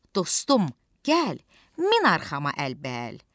Dostum, gəl, min arxama əlbəl,